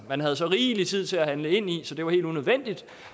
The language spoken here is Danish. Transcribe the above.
man havde så rigelig tid til at handle ind i så det var helt unødvendigt